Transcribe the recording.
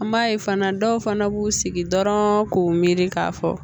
An b'a ye fana dɔw fana b'u sigi dɔrɔn k'u miiri k'a fɔ